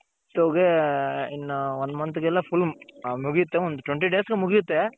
ಗೆ ಇನ್ನ one month ಗೆಲ್ಲ full ಮುಗಿತ್ತೆ one twenty days ಗೆ ಮುಗಿಯುತ್ತೆ.